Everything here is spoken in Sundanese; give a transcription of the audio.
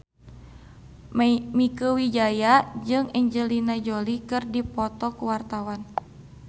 Mieke Wijaya jeung Angelina Jolie keur dipoto ku wartawan